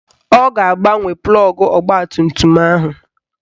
Ọ ga-agbanwe plọgụ ọgbatumtum ahụ